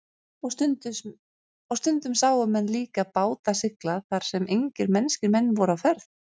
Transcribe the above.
Og stundum sáu menn líka báta sigla þar sem engir mennskir menn voru á ferð.